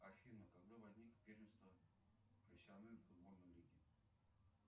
афина когда возникло первенство профессиональной футбольной лиги